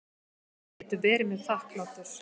Getur verið mér þakklátur.